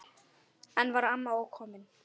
Enn var amma ókomin.